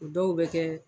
O dɔw bɛ kɛ